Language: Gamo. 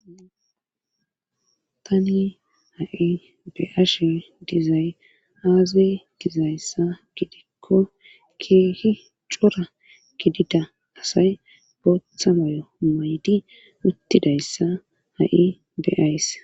tani ha7i be ashe dizay aaze dizayssa gidikko keehi cora gidida asay booththa mayo maydi uttidayssa ha7i beays